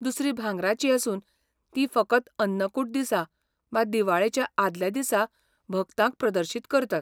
दुसरी भांगराची आसून ती फकत अन्नकूट दिसा, वा दिवाळेच्या आदल्या दिसा भक्तांक प्रदर्शीत करतात.